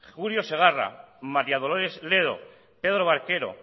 julio segarra maría dolores ledo pedro barquero